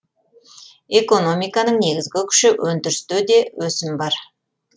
экономиканың негізігі күші өндірісте де өсім бар